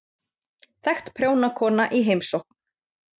Þekkt prjónakona í heimsókn